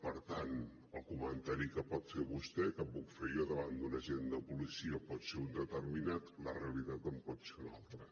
per tant el comentari que pot fer vostè o que puc fer jo davant d’un agent de policia pot ser un determinat la realitat pot ser una altra